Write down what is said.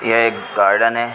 यह एक गार्डन है|